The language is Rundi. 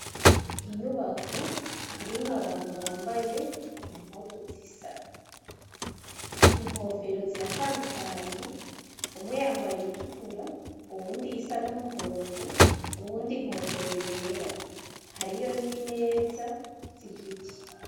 inyubako irimwo abantu bambaye impuzu zisa inkofero ziratandukanye umwe yambaye iyitukura uwundi isa n'umuhondo uwundi inkofero yera hariyo n'imeza zigiti